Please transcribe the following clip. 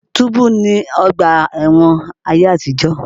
Túbú ni ọgbà ẹ̀wọ̀n ayé àtìjọ̀.